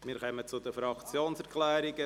Wir kommen zu den Fraktionserklärungen.